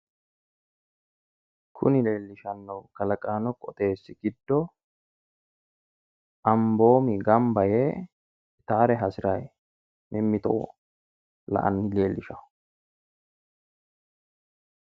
Kunni leelishanohu kallaqaano qooxeesi gido amboomi gamba yee itaare hasirayi mimitto la'anni leelishao.